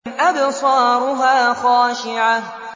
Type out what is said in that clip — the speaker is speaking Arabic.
أَبْصَارُهَا خَاشِعَةٌ